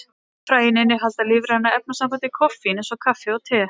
Fræin innihalda lífræna efnasambandið koffín, eins og kaffi og te.